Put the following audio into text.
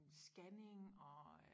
Scanning og øh